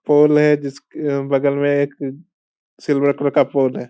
पोल है जिसके बगल में एक सिल्वर कलर का पोल है।